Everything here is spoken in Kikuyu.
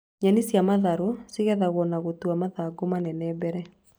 Nyeni cia matharũ cigethagwo na gũtua mathangũ manene mbere